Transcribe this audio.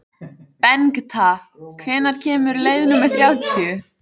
Bengta, hvenær kemur leið númer þrjátíu?